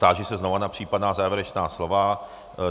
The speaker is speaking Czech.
Táži se znovu na případná závěrečná slova.